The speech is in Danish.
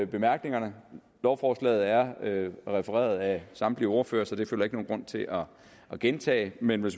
bemærkningerne lovforslaget er refereret af samtlige ordførere så det føler jeg ikke nogen grund til at gentage men jeg